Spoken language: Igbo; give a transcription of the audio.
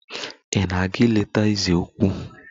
Ị na-aga ileta eze ukwu?